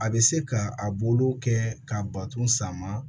A bɛ se ka a bolo kɛ k'a bato sama